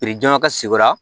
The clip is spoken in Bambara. jɔnjɔn ka sigira